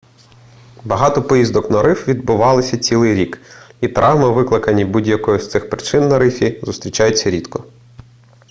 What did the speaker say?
багато поїздок на риф відбуваються цілий рік і травми викликані будь-якою з цих причин на рифі зустрічаються рідко